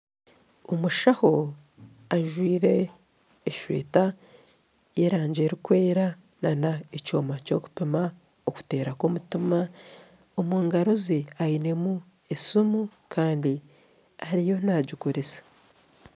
Omushaho ajwire eshweta y'erangi erikwera nana ekyoma ky'okupima okuteera kw'omutima omu ngaaro ze ainemu esiimu kandi ariyo naagikoresa